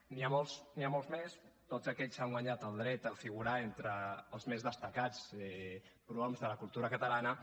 n’hi ha molts n’hi molts més tots aquests s’han guanyat el dret a figurar entre els més destacats prohoms de la cultura catalana